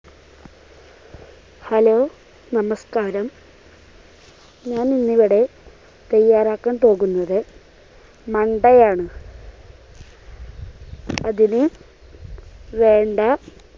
hello നമസ്കാരം ഞാൻ ഇന്ന് ഇവിടെ തയ്യാറാക്കാൻ പോകുന്നത് മണ്ടയാണ് അതിനു വേണ്ട